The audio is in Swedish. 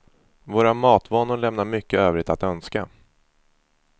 Våra matvanor lämnar mycket övrigt att önska.